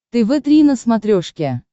тв три на смотрешке